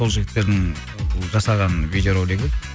сол жігіттердің жасаған видеоролигі